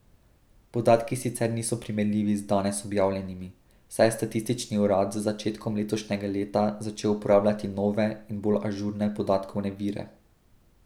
Podatki sicer niso primerljivi z danes objavljenimi, saj je statistični urad z začetkom letošnjega leta začel uporabljati nove in bolj ažurne podatkovne vire.